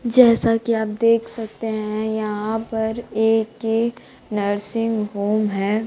जैसा कि आप देख सकते हैं यहां पर एक_के नर्सिंग होम है।